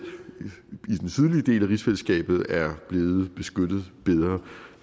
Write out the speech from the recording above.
i den sydlige del af rigsfællesskabet er blevet beskyttet bedre